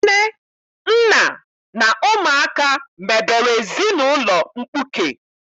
Nne, nna na ụmụaka mebere ezinaụlọ mkpuke.